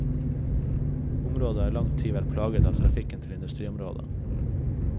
Området har i lang tid vært plaget av trafikken til industriområdet.